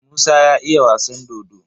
Musa ya iya wasan dodo.